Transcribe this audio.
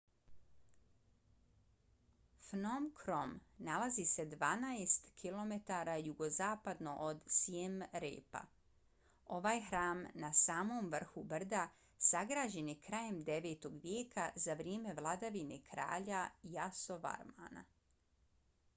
phnom krom nalazi se 12 km jugozapadno od siem reapa. ovaj hram na samom vrhu brda sagrađen je krajem 9. vijeka za vrijeme vladavine kralja yasovarmana